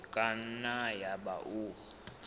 e ka nna yaba o